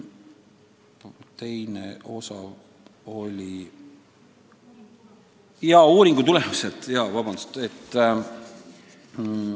Teine küsimus oli uuringute tulemuste kasutamise kohta.